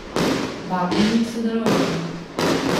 Vabljeni k sodelovanju!